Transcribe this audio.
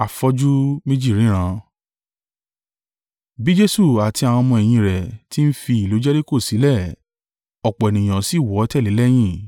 Bí Jesu àti àwọn ọmọ-ẹ̀yìn rẹ̀ ti ń fi ìlú Jeriko sílẹ̀, ọ̀pọ̀ ènìyàn sì wọ́ tẹ̀lé e lẹ́yìn.